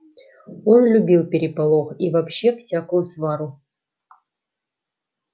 он любил переполох и вообще всякую свару